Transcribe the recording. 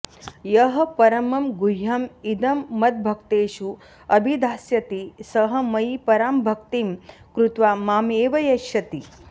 यः परमं गुह्यम् इदं मद्भक्तेषु अभिधास्यति सः मयि परां भक्तिं कृत्वा माम् एव एष्यति